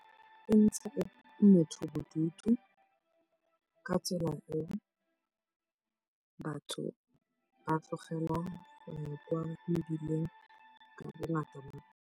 E ntsha motho bodutu ka tsela e batho ba tlogelang go ya kwa mebileng ka bongata.